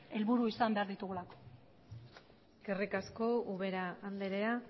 helburu izan behar ditugulako eskerrik asko ubera andrea